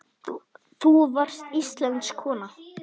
Þú varst íslensk kona.